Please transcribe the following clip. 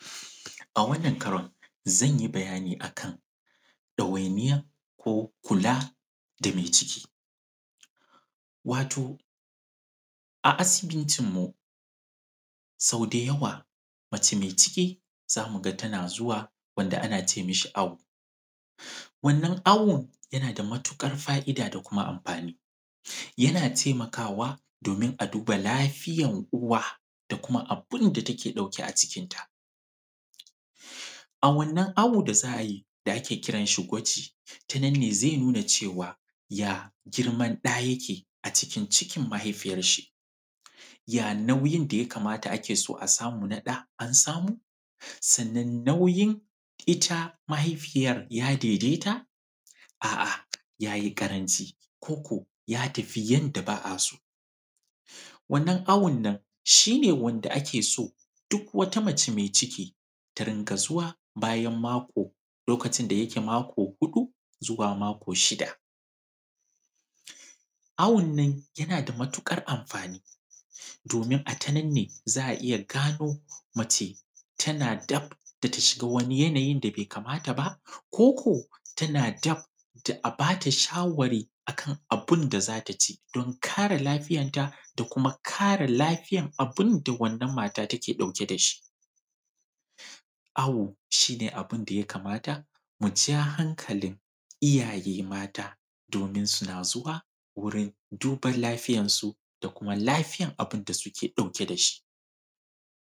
A wanann karon, zan yi bayani a kan ɗawainiyan ko kula da me ciki. Wato, a asibitinmu, sau da yawa mace me ciki, za mu ga tana zuwa wanda ana ce mishi awu. Wannan awun, yana da mutuƙar fa’da da kuma amfani. Yana temakawa domin a duba lafiyan uwa da kuma bain da take ɗauke a cikinta. A wannan awo da za a yi, da ake kiran shi gwaji, ta nan ne ze nuna cewa, ya girman ɗa yake a cikin cikin mahaifiyar shi, ya nauyin da ya kamata ake so a samu na ɗa an samu? Sannan, nauyin ita mahaifiyar ya dedeta? A’a ya yi ƙaranci koko ya tafi yanda ba a so. Wannan awon nan, shi ne wanda ake so, duk wata mace me ciki ta ringa zuwa bayan mako, lokacin da yake mako huɗu zuwa mako shida. Awun nan, yana da matuƙar amfani, domin a ta nan ne za a iya gano mace tana daf da ta shiga wani yanayin da be kamata ba koko tana daf da a ba ta shawari a kana bin da za ta ci don kare lafiyanta da kuma kare lafiyan abin da wannan mata take ɗauke da shi. Awo, shi ne abin da ya kamata mu ja hankalin iyaye mata, domin suna zuwa wurin duban lafiyansu da kuma lafiyan abin da suke ɗauke da shi.